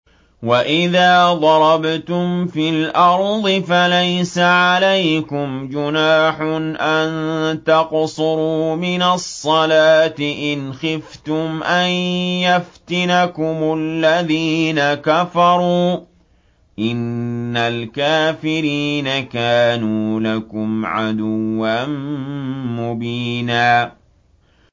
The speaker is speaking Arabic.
وَإِذَا ضَرَبْتُمْ فِي الْأَرْضِ فَلَيْسَ عَلَيْكُمْ جُنَاحٌ أَن تَقْصُرُوا مِنَ الصَّلَاةِ إِنْ خِفْتُمْ أَن يَفْتِنَكُمُ الَّذِينَ كَفَرُوا ۚ إِنَّ الْكَافِرِينَ كَانُوا لَكُمْ عَدُوًّا مُّبِينًا